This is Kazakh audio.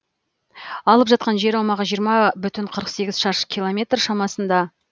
алып жатқан жер аумағы жиырма бүтін қырық сегіз шаршы километр шамасында